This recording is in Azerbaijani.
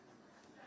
O bilmirsən?